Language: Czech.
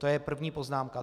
To je první poznámka.